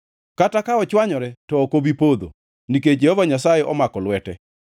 kata ka ochwanyore to ok obi podho; nikech Jehova Nyasaye omako lwete.